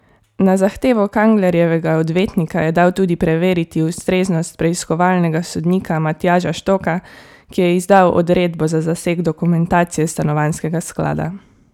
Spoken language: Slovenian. Na zahtevo Kanglerjevega odvetnika je dal tudi preveriti ustreznost preiskovalnega sodnika Matjaža Štoka, ki je izdal odredbo za zaseg dokumentacije stanovanjskega sklada.